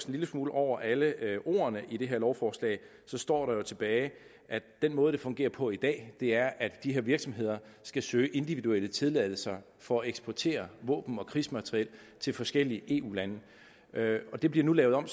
lille smule over alle ordene i det her lovforslag står der jo tilbage at den måde det fungerer på i dag er at de her virksomheder skal søge individuelle tilladelser for at eksportere våben og krigsmateriel til forskellige eu lande det bliver nu lavet om